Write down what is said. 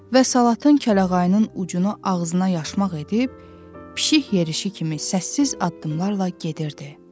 Və Salatın kəlağayının ucunu ağzına yaşmaq edib, pişik yerişi kimi səssiz addımlarla gedirdi.